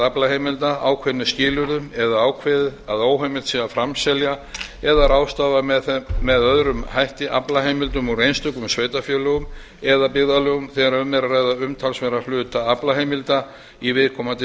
aflaheimilda ákveðnum skilyrðum eða ákveðið að óheimilt sé að framselja eða ráðstafa með öðrum hætti aflaheimildum úr einstökum sveitarfélögum eða byggðarlögum þegar um er að ræða umtalsverðan hluta aflaheimilda í viðkomandi sveitarfélagi